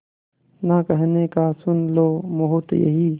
ना कहने का सुन लो मुहूर्त यही